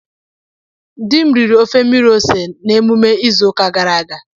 Di m riri ofe mmiri ose na emume izu ụka gara aga